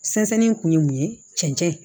Sɛnsɛnni kun ye mun ye cɛncɛn